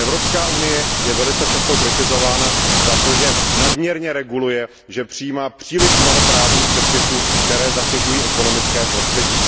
Evropská unie je velice často kritizována za to, že nadměrně reguluje, že přijímá příliš mnoho právních předpisů, které zatěžují ekonomické prostředí.